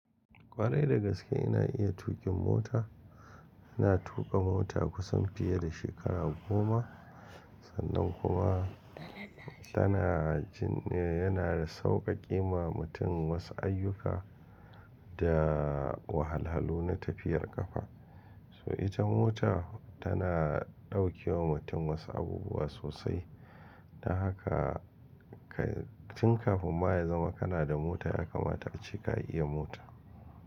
Ƙwarai dagaske ina iya tuƙin mota. Ina tuƙa mota kusan fiye da shekara goma sannan kuma tana jin, yana sauƙaƙe ma mutum wasu ayyuka da wahalhalu na tafiyar ƙafa. So ita mota tana ɗauke wa mutum wasu abubuwa sosai. Dan haka kai tun kafin ba ya zama kana da mota ya kamata ace ka iya mota.